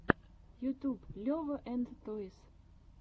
ютьюб лева энд тойс